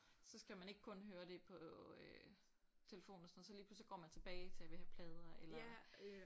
Så skal man ikke kun høre det på øh telefonen og sådan noget så lige pludselig så går man tilbage til at vil have plader eller